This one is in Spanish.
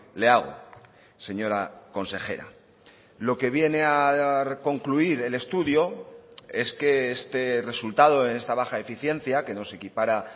le hago señora consejera lo que viene a concluir el estudio es que este resultado en esta baja eficiencia que nos equipara